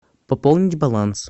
пополнить баланс